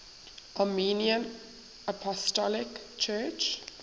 armenian apostolic church